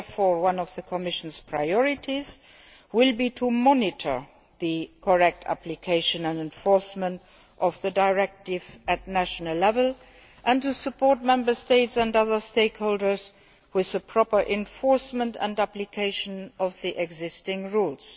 Therefore, one of the Commission's priorities will be to monitor the correct application and enforcement of the directive at national level and to support Member States and other stakeholders with the proper enforcement and application of the existing rules.